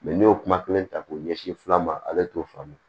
ne y'o kuma kelen ta k'o ɲɛsin fila ma ale t'o faamu